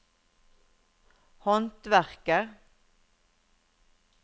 håndverker